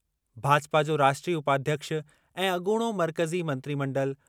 भाजपा जो राष्ट्रीय उपाध्यक्ष ऐं अॻूणो मर्कज़ी मंत्रिमंडलु